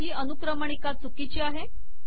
ही अनुक्रमणिका चुकीची आहे